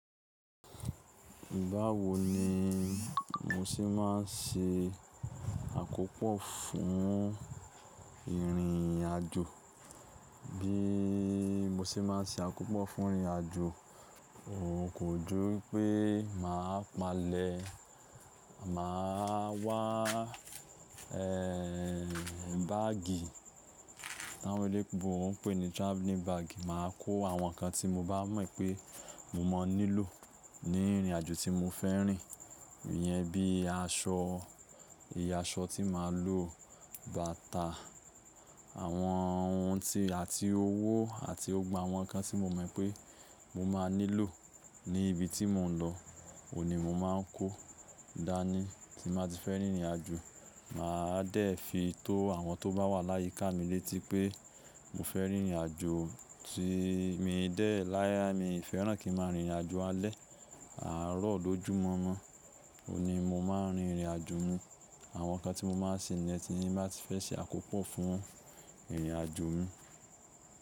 Báwo ni mo ṣẹ máa ń ṣe àkópò fún ìrìn àjò? Bí mo ṣe máa ń ṣe àkópò fún ìrìn àjò, òun kò ju pé mà á palẹ̀. Mà á wá ẹ́ báàgì táwọ́n oloyinbo pe ní traveling bag. Mà á kó àwọn nǹkan tí mo bá mọ̀ pé mo máa nílò ní ìrìn àjò tí mo fẹ́ rìn. Ìyẹn bí i aṣọ, ìye aṣọ tí màa lò, bàtà, àwọn ohun tí-- àti owó àti ògbogbo awọ́n kan tí mo mọ̀ pé mo máa nílò ní ibi tí mò ń lọ. Òhun ni mo máa ń kó dání tí mà á ti fẹ́ rìn ìrìn àjò. Mà á dẹ̀ fi tó àwọn tó bá wà láyé kà mi létí pé mo fẹ́ rìn ìrìn àjò. Tí mo dẹ̀ láyé, mi fẹ́ràn kí n máa rìn ìrìn àjò alẹ́, àárọ̀, lójúmọ́ mọ́. Òun ni mo máa ń rìn ìrìn àjò mi. Àwọn nǹkan tí mo máa ń ṣe níyen tì ní mà á ti fẹ́ ṣe àkópò fún ìrìn àjò mi.